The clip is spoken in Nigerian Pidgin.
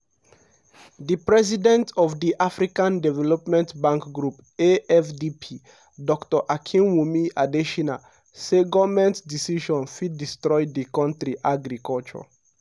di president of di african development bank group (afdb) dr akinwumi adesina say goment decision fit destroy di kontri agriculture.